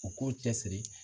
U k'u cɛsiri